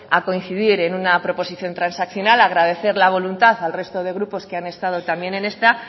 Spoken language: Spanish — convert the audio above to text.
a coincidir en una proposición transaccional agradecer la voluntad al resto de grupo que han estado también en esta